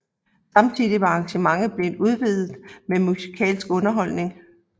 Samtidig var arrangementet blevet udvidet med musikalsk underholdning